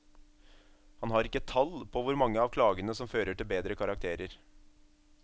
Han har ikke tall på hvor mange av klagene som fører til bedre karakterer.